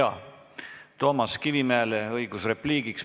Aga kõigepealt on Toomas Kivimägil õigus repliigiks.